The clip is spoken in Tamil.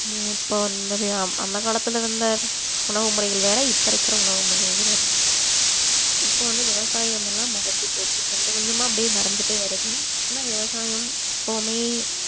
ஹம் இப்ப அஹ் அந்த அந்த காலத்துல இருந்த உணவு முறைகள் வேற இப்ப இருக்கிற உணவு முறைகள் வேற இப்ப வந்து விவசாயம் எல்லாம் மறஞ்சி போச்சு கொஞ்சம் கொஞ்சமா அப்படியே மறந்துட்டே வருது ஆனா விவசாயம் எப்பவுமே